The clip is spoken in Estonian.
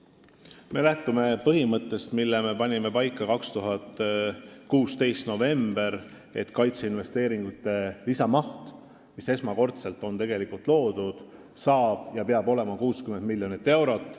Me lähtume põhimõttest, mille me panime paika 2016. aasta novembris, et kaitseinvesteeringute lisamaht, mis on tegelikult esmakordselt loodud, saab ja peab olema 60 miljonit eurot.